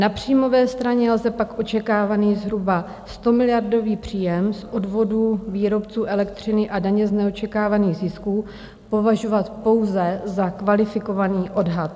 Na příjmové straně lze pak očekávaný zhruba 100miliardový příjem z odvodů výrobců elektřiny a daně z neočekávaných zisků považovat pouze za kvalifikovaný odhad.